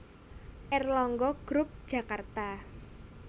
Erlangga group Jakarta